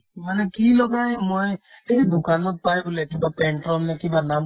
মানে কি লগাই ময়ে এই যে দোকানত পাই বোলে কিবা pantone নে কিবা নাম